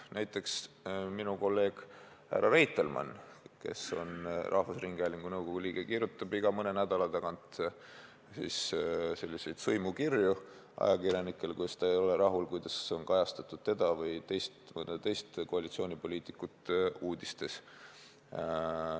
Näiteks minu kolleeg härra Reitelmann, kes on samuti rahvusringhäälingu nõukogu liige, kirjutab iga mõne nädala tagant ajakirjanikele sõimukirju, kuidas ta ei ole rahul sellega, kuidas on uudistes kajastatud teda või mõnda teist koalitsioonipoliitikut.